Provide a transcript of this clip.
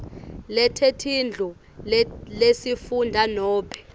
letetindlu lesifundza nobe